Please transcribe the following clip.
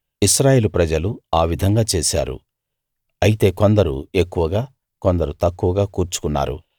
ఇశ్రాయేలు ప్రజలు ఆ విధంగా చేశారు అయితే కొందరు ఎక్కువగా కొందరు తక్కువగా కూర్చుకున్నారు